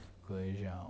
colegial.